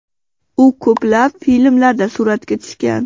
U ko‘plab filmlarda suratga tushgan.